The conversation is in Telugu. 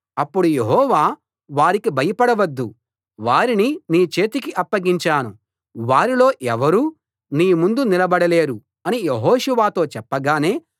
అప్పుడు యెహోవా వారికి భయపడవద్దు వారిని నీ చేతికి అప్పగించాను వారిలో ఎవరూ నీ ముందు నిలబడలేరు అని యెహోషువతో చెప్పగానే